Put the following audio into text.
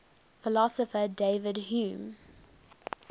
philosopher david hume